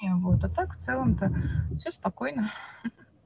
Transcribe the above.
и вот а так в целом то всё спокойно ха-ха